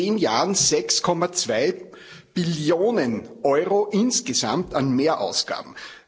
Das sind in zehn Jahren 6,2 Billionen Euro insgesamt an Mehrausgaben.